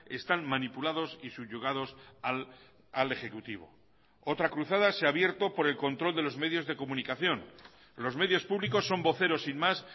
están manipulados y subyugados al ejecutivo otra cruzada se a abierto por el control de los medios de comunicación los medios públicos son voceros sin más